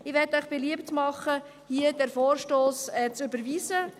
Ich will Ihnen beliebt machen, diesen Vorstoss hier zu überweisen.